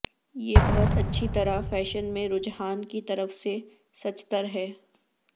یہ بہت اچھی طرح فیشن میں رجحان کی طرف سے سچتر ہے